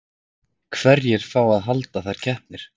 Hverjir fá að halda þær keppnir?